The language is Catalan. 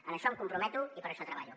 en això em comprometo i per a això treballo